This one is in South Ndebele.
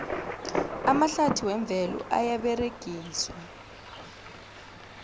amahlathi wemvelo ayaberegiswa